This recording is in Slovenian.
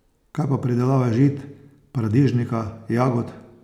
Kaj pa pridelava žit, paradižnika, jagod?